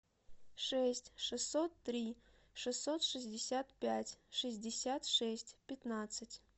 шесть шестьсот три шестьсот шестьдесят пять шестьдесят шесть пятнадцать